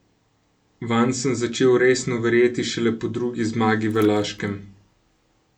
Vanj sem začel resno verjeti šele po drugi zmagi v Laškem.